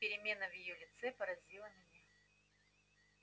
перемена в её лице поразила меня